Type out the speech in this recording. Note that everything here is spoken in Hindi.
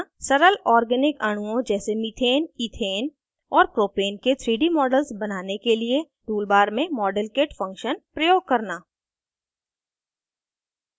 * सरल organic अणुओं जैसे methane इथेन और propane के 3d models बनाने के लिए tool bar में modelkit function प्रयोग करना